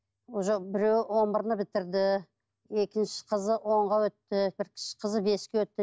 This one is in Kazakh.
уже біреуі он бірді бітірді екінші қызы онға өтті бір кіші қызы беске өтті